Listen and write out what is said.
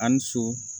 A ni so